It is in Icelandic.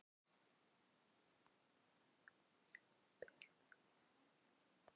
Þú verður að bera mig heim, sagði Gógó og flissaði.